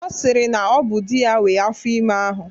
Ọ sịrị na ọ bụ di ya nwee afọ ime ahụ.